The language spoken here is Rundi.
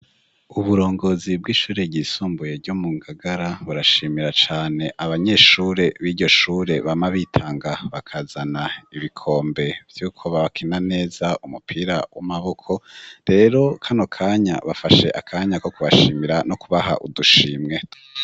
Uburongozi bw'ishure ryisumbuye ryo mu Ngagara burashimira cane abanyeshure b'iryo shure bama bitanga bakazana ibikombe vyuko babakina neza umupira w'amaboko. Rero kano kanya bafashe akanya ko kubashimira no kubaha udushimwe.